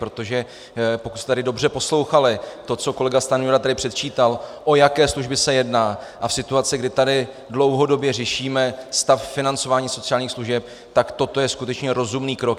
Protože pokud jste tady dobře poslouchali, to, co kolega Stanjura tady předčítal, o jaké služby se jedná, a v situaci, kdy tady dlouhodobě řešíme stav financování sociálních služeb, tak toto je skutečně rozumný krok.